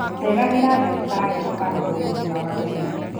Ceragĩra dagĩtarĩ ũka rorwo ũgima wa mwĩrĩ